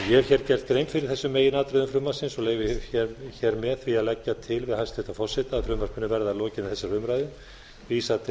hef gert grein fyrir þessum meginatriðum frumvarpsins og leyfi mér að leggja til við hæstvirtan forseta að frumvarpinu verði að lokinni þessari umræðu vísað til